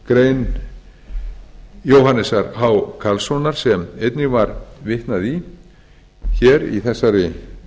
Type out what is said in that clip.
grein jóhannesar h karlssonar sem einnig var vitnað í hér í þessari